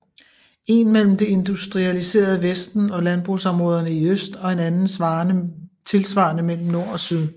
En mellem det industrialiserede vesten og landbrugsområderne i øst og en anden tilsvarende mellem nord og syd